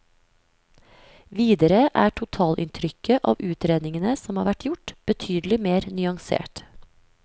Videre er totalinntrykket av utredningene som har vært gjort, betydelig mer nyansert.